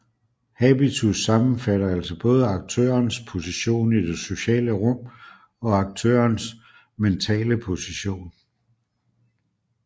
Habitus sammenfatter altså både aktørens position i det sociale rum og aktørens mentale position